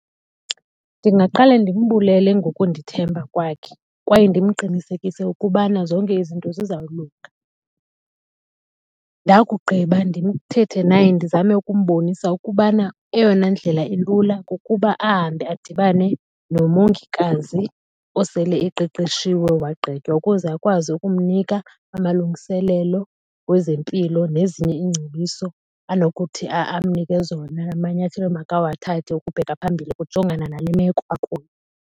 Ndingaqale ndimbulele ngokundithemba kwakhe kwaye ndimqinisekise ukubana zonke izinto zizawulunga. Ndakugqiba ndithethe naye ndizame ukumbonisa ukubana eyona ndlela ilula kukuba ahambe adibane nomongikazi osele eqeqeshiwe wagqitywa ukuze akwazi ukumnika amalungiselelo wezempilo nezinye iingcebiso anokuthi amnike zona amanyathelo amakawathathe ukubheka phambili ukujongana nale meko akuyo